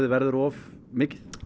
verður of mikið